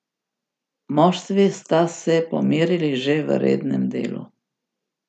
Moštvi sta se pomerili že v rednem delu.